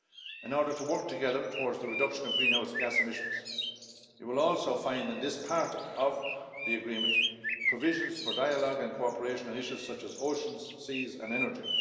In order to work together towards the reduction of greenhouse gas emissions, you will also find in this part of the agreement provisions for dialogue and cooperation on issues such as oceans, seas and energy.